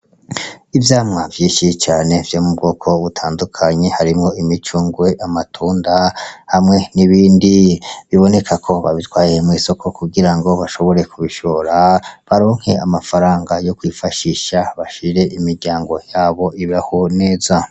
Ivyamwa vyinshi cane vyo m'ubwoko butandukanye harimwo imicungwe, amatunda hamwe n'ibindi, biboneka ko babitwaye mw'isoko kugira bashobore kubishora baronke amafaranga yo kwifashisha kugira imiryango yabo ibeho neza.